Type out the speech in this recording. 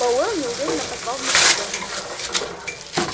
пауэлл неуверенно позвал в микрофон